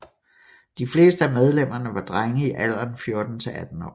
De fleste af medlemmerne var drenge i alderen 14 til 18 år